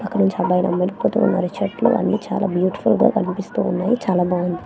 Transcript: అక్కడ నుంచి మరియు చెట్లు అన్నీ చాలా బ్యూటిఫుల్ గా కనిపిస్తూ ఉన్నాయి చాలా బాగున్నాయి.